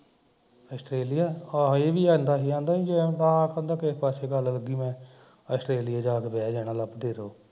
Australia ਆਹੋ ਏਹ ਵੀ ਕਹਿੰਦਾ ਸੀ ਕਹਿੰਦਾ ਕਿ ਜੇ ਨਾ ਕਿਸੇ ਪਾਸੇ ਗੱਲ ਲੱਗੀ ਤਾਂ ਮੈਂ ਆਸਟ੍ਰੇਲੀਆ ਜਾ ਕੇ ਬਹਿ ਜਾਣਾ ਲੱਭਦੇ ਰਹਿਓ